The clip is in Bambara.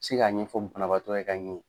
Se k'a ɲɛfɔ banabaatɔ ye ka ɲɛ